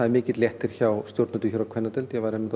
er mikill léttir hjá stjórnendum hér á kvennadeild ég var einmitt